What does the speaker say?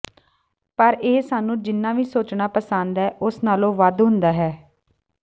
ਪਰ ਇਹ ਸਾਨੂੰ ਜਿੰਨਾ ਵੀ ਸੋਚਣਾ ਪਸੰਦ ਹੈ ਉਸ ਨਾਲੋਂ ਵੱਧ ਹੁੰਦਾ ਹੈ